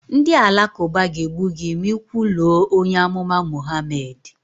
Ndị Alakụba ga-egbu gị ma ị kwuluo onye amụma Mohammed